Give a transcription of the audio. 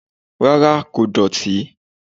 Rárá kò dọ̀tí